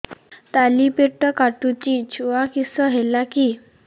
ତଳିପେଟ କାଟୁଚି ଛୁଆ କିଶ ହେଲା କି